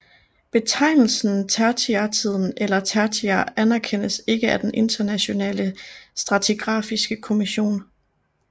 Betegnelsen tertiærtiden eller tertiær anerkendes ikke af den Internationale Stratigrafiske Kommission